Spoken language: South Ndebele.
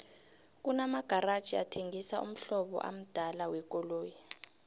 kuna magaraji athengisa umhlobo amdala wekoloyi